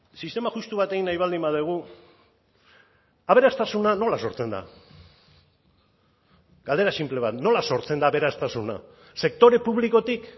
sistema justu bat egin nahi baldin badugu aberastasuna nola sortzen da galdera sinple bat nola sortzen da aberastasuna sektore publikotik